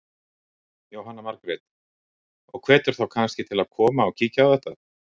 Jóhanna Margrét: Og hvetur þá kannski til að koma og kíkja á þetta?